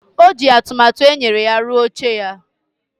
O ji atụmatụ e nyere ya rụọ oche a.